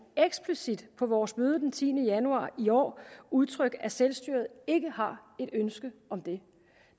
eksplicit på vores møde den tiende januar i år udtrykt at selvstyret ikke har et ønske om det